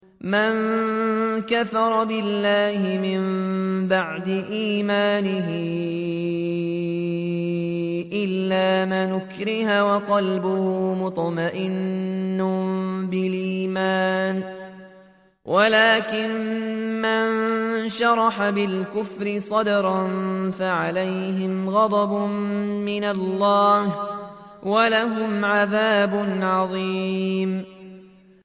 مَن كَفَرَ بِاللَّهِ مِن بَعْدِ إِيمَانِهِ إِلَّا مَنْ أُكْرِهَ وَقَلْبُهُ مُطْمَئِنٌّ بِالْإِيمَانِ وَلَٰكِن مَّن شَرَحَ بِالْكُفْرِ صَدْرًا فَعَلَيْهِمْ غَضَبٌ مِّنَ اللَّهِ وَلَهُمْ عَذَابٌ عَظِيمٌ